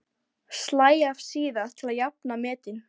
Slæ af síðar til að jafna metin.